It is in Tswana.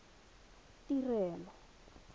tirelo